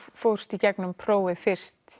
fórst í gegnum prófið fyrst